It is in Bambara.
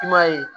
I m'a ye